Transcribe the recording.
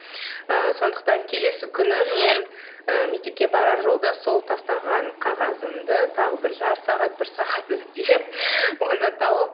ы сондықтан келесі күні мен ы мектепке барар жолда сол тастаған қағазымды тағы бір жарты сағат бір сағат іздеп оны тауып